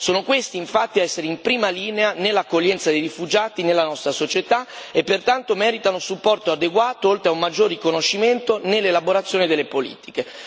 Sono questi, infatti, ad essere in prima linea nell'accoglienza di rifugiati nella nostra società e pertanto meritano supporto adeguato oltre a un maggior riconoscimento, nell'elaborazione delle politiche.